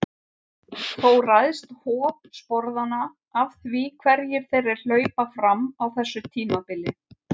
Þó ræðst hop sporðanna af því hverjir þeirra hlaupa fram á þessu tímabili.